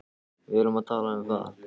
Við erum að tala um það!